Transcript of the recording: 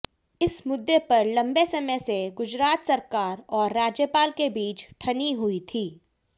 इस मुद्दे पर लंबे समय से गुजरात सरकार और राज्यपाल के बीच ठनी हुई थी